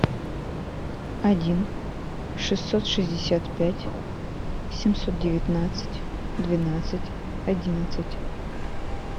один шестьсот шестьдесят пять семьсот девятнадцать двенадцать одиннадцать